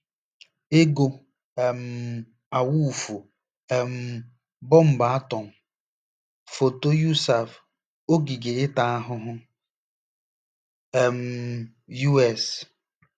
EGO um AWUFU; um bọmbụ atọm: foto USAF; ogige ịta ahụhụ: um U. S.